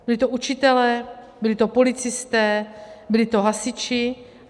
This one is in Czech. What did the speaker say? Byli to učitelé, byli to policisté, byli to hasiči.